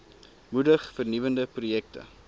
moedig vernuwende projekte